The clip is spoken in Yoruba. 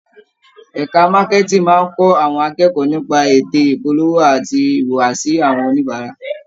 Ẹka Marketing máa ń kọ́ àwọn akẹ́kọ̀ọ́ nípa ète ìpolówó àti ìhùwàsí àwọn oníbàárà.